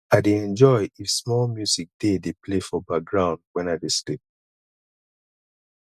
i dey enjoy if small music dey dey play for background wen i dey sleep